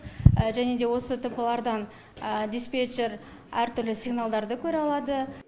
және де осы тп лардан диспетчер әртүрлі сигналдарды көре алады